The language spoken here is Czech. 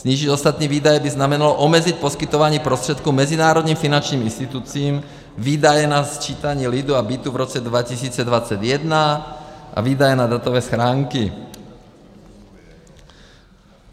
Snížit ostatní výdaje by znamenalo omezit poskytování prostředků mezinárodním finančním institucím, výdaje na sčítání lidu a bytů v roce 2021 a výdaje na datové schránky.